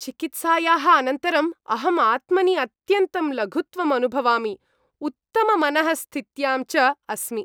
चिकित्सायाः अनन्तरम् अहम् आत्मनि अत्यन्तं लघुत्वम् अनुभवामि उत्तममनःस्थित्यां च अस्मि।